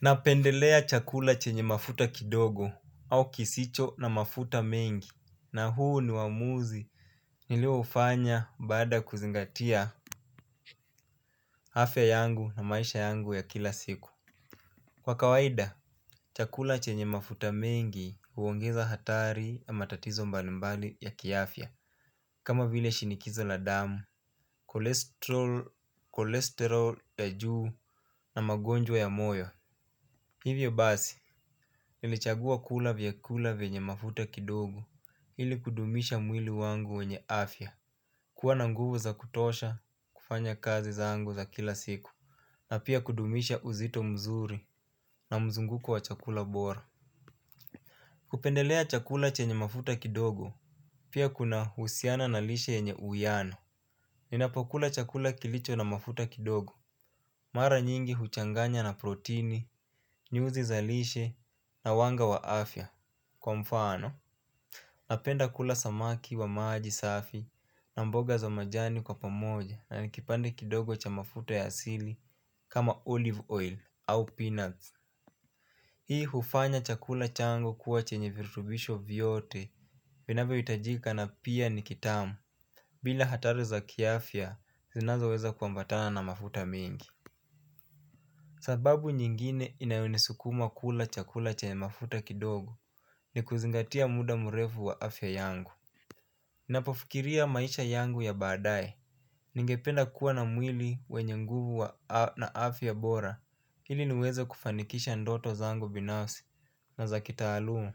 Napendelea chakula chenye mafuta kidogo au kisicho na mafuta mengi na huu ni uamuzi nilio hufanya baada ya kuzingatia afya yangu na maisha yangu ya kila siku. Kwa kawaida, chakula chenye mafuta mengi huongeza hatari na matatizo mbalimbali ya kiafya kama vile shinikizo la damu, cholesterol ya juu na magonjwa ya moyo. Hivyo basi, nilichagua kula vyakula vyenye mafuta kidogo, ili kudumisha mwili wangu wenye afya, kuwa na nguvu za kutosha, kufanya kazi zangu za kila siku, na pia kudumisha uzito mzuri na mzunguko wa chakula bora. Kupendelea chakula chenye mafuta kidogo, pia kunahusiana na lishe yenye uyano. Ninapokula chakula kilicho na mafuta kidogo mara nyingi huchanganya na protini, nyuzi zalishe na wanga wa afya. Kwa mfano, napenda kula samaki wa maji safi na mboga za majani kwa pamoja na nikipande kidogo cha mafuta ya asili kama olive oil au peanuts. Hii hufanya chakula changu kuwa chenye virutubisho vyote vinavyohitajika na pia ni kitamu. Bila hatari za kiaafya zinazo weza kuambatana na mafuta mingi sababu nyingine inayo nisukuma kula chakula chenye mafuta kidogo ni kuzingatia muda murefu wa afya yangu. Ninapofikiria maisha yangu ya baadaye ningependa kuwa na mwili wenye nguvu na afya bora. Hili niweze kufanikisha ndoto zangu binafsi na za kitaalumu.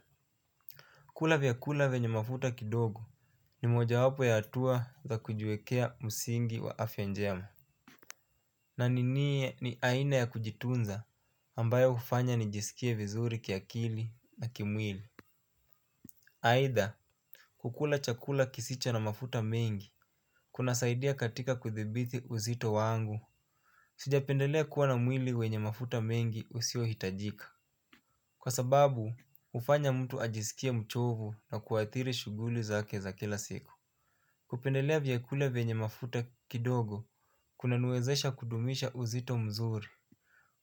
Kula vyakula vyenye mafuta kidogo ni mojawapo ya hatua za kujiwekea msingi wa afya njema. Na niniye ni aina ya kujitunza ambayo hufanya nijisikie vizuri kiakili na kimwili aidha kukula chakula kisicho na mafuta mengi. Kunasaidia katika kuthibithi uzito wangu. Sijapendelea kuwa na mwili wenye mafuta mengi usiohitajika. Kwa sababu hufanya mtu ajisikie mchovu na kuathiri shughuli zake za kila siku. Kupendelea vyakula vyenye mafuta kidogo kuna niwezesha kudumisha uzito mzuri.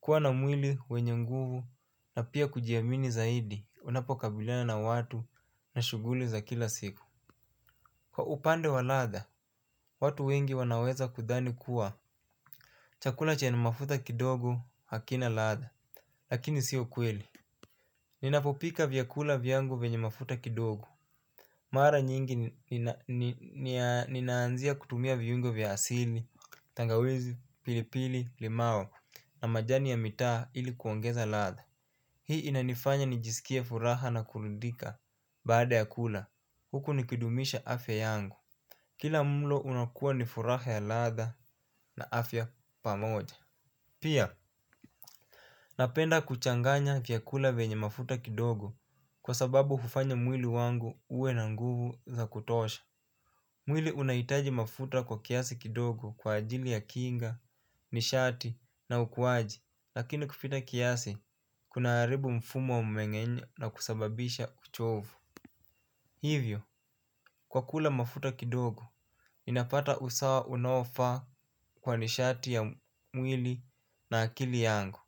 Kuwa na mwili, wenye nguvu na pia kujiamini zaidi, unapokabiliana na watu na shughuli za kila siku. Kwa upande wa ladha, watu wengi wanaweza kudhani kuwa. Chakula chenye mafuta kidogo hakina ladha, lakini sio kweli. Ninapopika vyakula vyangu venye mafuta kidogo. Mara nyingi ninaanzia kutumia viungo vya asili, tangawizi, pilipili, limao, na majani ya mitaa ili kuongeza ladha. Hii inanifanya nijisikie furaha na kuridhika baada ya kula, huku nikidumisha afya yangu. Kila mlo unakuwa ni furaha ya ladha na afya pamoja. Pia, napenda kuchanganya vyakula vyenye mafuta kidogo kwa sababu hufanya mwili wangu uwe na nguvu za kutosha. Mwili unahitaji mafuta kwa kiasi kidogo kwa ajili ya kinga, nishati na ukuwaji. Lakini kupita kiasi, kunaharibu mfumo mwengenye na kusababisha kuchovu. Hivyo, kwa kula mafuta kidogo, ninapata usawa unaoafaa kwa nishati ya mwili na akili yangu.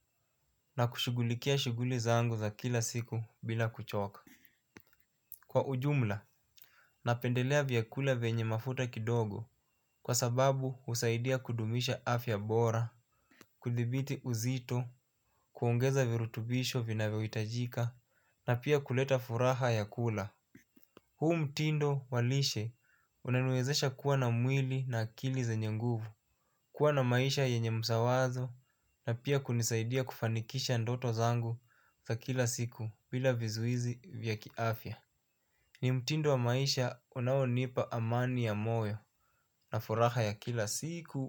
Na kushugulikia shuguli zangu za kila siku bila kuchoka. Kwa ujumla, napendelea vyakula vyenye mafuta kidogo kwa sababu husaidia kudumisha afya bora. Kuthibiti uzito, kuongeza virutubisho vinavyohitajika na pia kuleta furaha ya kula. Huu mtindo wa lishe unaniwezesha kuwa na mwili na akili zenye nguvu. Kuwa na maisha yenye msawazo na pia kunisaidia kufanikisha ndoto zangu za kila siku bila vizuizi vya kiafya. Ni mtindo wa maisha unaonipa amani ya moyo na furaha ya kila siku.